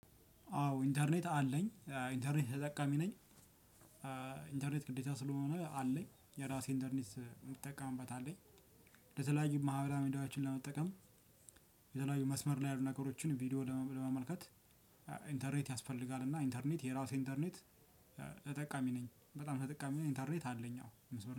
አዎ ኢንተርኔት አለኝ ኢንተርኔት ተጠቃሚ ነኝ። ኢንተርኔት ግዴታ ስለሆነ አለኝ የራሴ ኢንተርኔት የምጠቀምበት አለኝ የተለያዩ ማህበራዊ ሚዲያዎችን ለመጠቀም ሌላው መስመር ላይ ያሉ ነገሮችን ቪዲዮ ለመመልከት ኢንተርኔት ያስፈልጋል እና ኢንተርኔት የራሴ ኢንተርኔት ተጠቃሚ ነኝ በጣም ተጠቃሚ ነኝ ኢንተርኔት አለኝ አዎ። መስመ